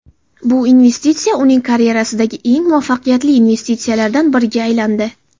Bu investitsiya uning karyerasidagi eng muvaffaqiyatli investitsiyalardan biriga aylandi.